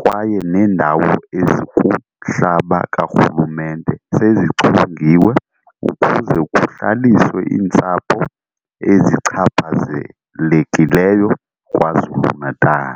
kwaye neendawo ezikumhlaba karhulumente sezichongiwe ukuze kuhlaliswe iintsapho ezichaphazelekileyo KwaZulu-Natal.